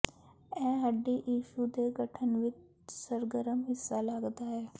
ਇਹ ਹੱਡੀ ਟਿਸ਼ੂ ਦੇ ਗਠਨ ਵਿੱਚ ਸਰਗਰਮ ਹਿੱਸਾ ਲੱਗਦਾ ਹੈ